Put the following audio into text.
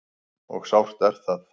Og sárt er það.